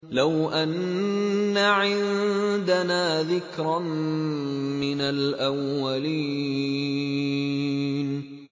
لَوْ أَنَّ عِندَنَا ذِكْرًا مِّنَ الْأَوَّلِينَ